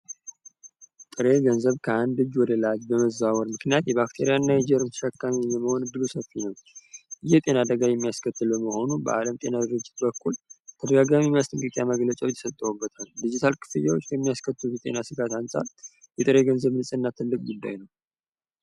ጥሬ ገንዘብ ከአንድ እጅ ወደ ሌላ እጅ በመዘዋወሩ ምክንያት ባክቴሪያ እና ጀርም ተሸካሚ መሆን እድሉ ሰፊ ነው የጤና አደጋ የሚያስከትል በመሆኑ የዓለም የጤና ድርጅት ተደጋጋሚ አስጠንቀቂያ ሰጥቶበታል ዲጂታል ክፍያዎች የሚያስከትሉት ስጋት አንፃር የጥሪ ገንዘብ ንጽህና ትልቅ ጉዳይ ነው።